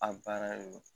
A baara de don